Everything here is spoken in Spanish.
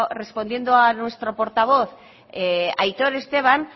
respondiendo a nuestro portavoz aitor esteban